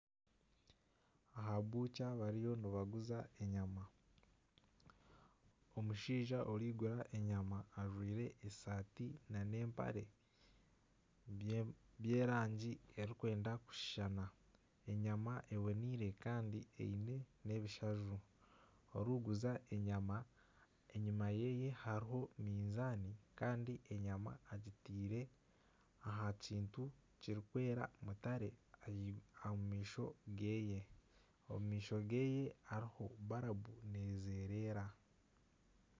Aha bukya bariyo nibaguza enyama, omushaija orikugura enyama ajwaire esaati nana empare by'erangi erikwenda kushushana enyama eboniire kandi eine ebishaju orikuguza enyama enyuma yeye hariyo minzaani kandi enyama agitiire aha kintu kirikweera mutare omu maisho geye hariho barabu nezereera.